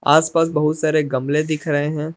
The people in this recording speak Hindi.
आस पास बहुत सारे गमले दिख रहे हैं।